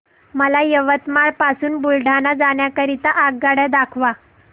मला यवतमाळ पासून बुलढाणा जाण्या करीता आगगाड्या दाखवा